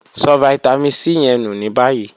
So vitamin C ye nu ni bayi.